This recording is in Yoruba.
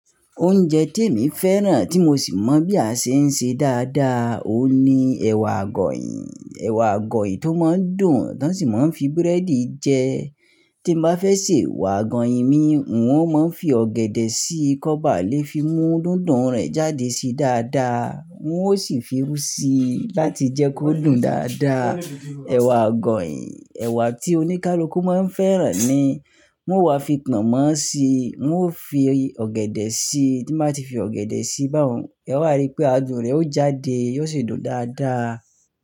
Oúnjẹ tí èmi féràn tí mo sì mọ̀ bí a ṣe ń ṣe dáadáa, òun ni ẹ̀wà àgọ̀yìn. Ẹ̀wà àgọ̀yìn tó máa ń dùn, tán sì máa ń fi búrẹ́dì jẹ. Tí n bá fẹ́ sè wà àgọ̀yìn mi, wọn ó máa ń fi ọ̀gẹ̀dẹ̀ sí i, kọ́ ba lè fi mú dùndún rẹ̀ jáde sí dáadáa. Wọn ó sì fi irù sí i láti jẹ́ kó dùn dáadáa. Ẹ̀wà àgọ̀yìn, ẹ̀wà tí oníkálukú máa ń fẹ́ràn ni. Wọ́n wá fi pọnmọ́ si, wọ́n ó fi ọ̀gẹ̀dẹ̀ sí i. Tí n bá ti fi ọ̀gẹ̀dẹ̀ sí i ba hun, ẹ wàá rí pé adùn rẹ̀ ó jáde, yóò sì dùn dáadáa.